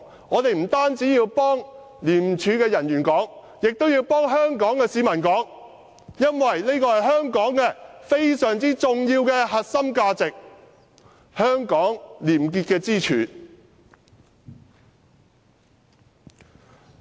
我們不單要替廉署人員發聲，也要替香港市民發聲，因為這是香港非常重要的核心價值，也是廉潔的支柱。